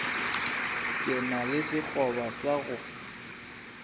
ke na le sekgoba sa